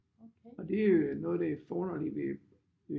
Og det er noget af det forunderlige ved